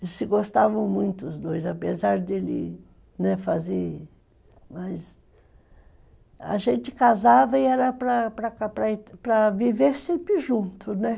Eles se gostavam muito, os dois, apesar dele fazer...Mas, a gente casava e era para viver sempre junto, né?